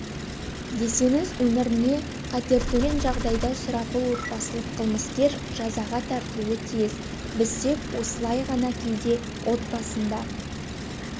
десеңіз өміріне қатертөнген жағдайда сұрапыл отбасылық қылмыскер жазаға тартылуы тиіс біз тек осылай ғанакейде отбасында